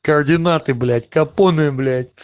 координаты блять капоне блять